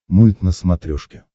мульт на смотрешке